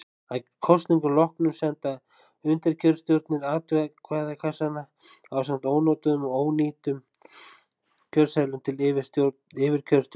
Að kosningum loknum senda undirkjörstjórnir atkvæðakassana ásamt ónotuðum og ónýtum kjörseðlum til yfirkjörstjórnar.